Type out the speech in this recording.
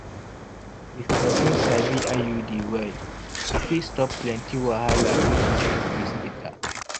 if person sabi iud well e fit stop plenty wahala wey fit show face later.